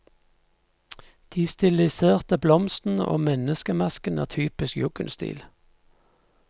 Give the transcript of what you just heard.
De stilliserte blomstene og menneskemasken er typisk jugendstil.